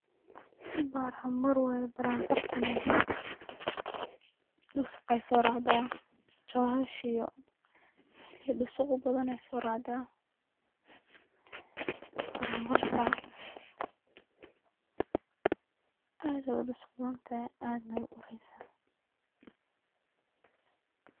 Baran baran waye, baran barantan dhusuq ay soo racdaa, choohash iyo melihi dhusuqa ubadan ayay soo racda baran bartan aad ay udhusuq badantahay aadna way u ureysa